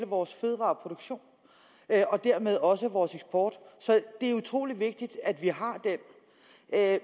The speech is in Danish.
vores fødevareproduktion og dermed også vores eksport så det er utrolig vigtigt at vi har den